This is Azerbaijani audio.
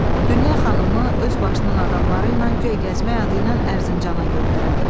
Dünya xanımı öz başından adamları ilə guya gəzmək adı ilə Ərzincana göndərdi.